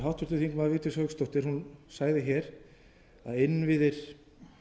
háttvirtur þingmaður vigdís hauksdóttir sagði að innviðir